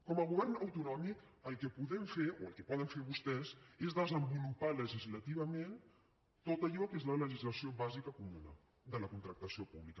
com a govern autonòmic el que podem fer o el que poden fer vostès és desenvolupar legislativament tot allò que és la legislació bàsica comuna de la contractació pública